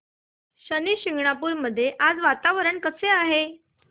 शनी शिंगणापूर मध्ये आज वातावरण कसे आहे